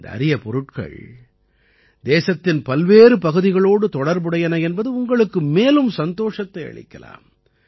இந்த அரிய பொருட்கள் தேசத்தின் பல்வேறு பகுதிகளோடு தொடர்புடையன என்பது உங்களுக்கு மேலும் சந்தோஷத்தை அளிக்கலாம்